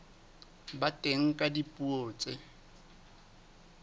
ba teng ka dipuo tse